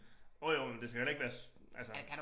Jo jo men det skal jo heller ikke være altså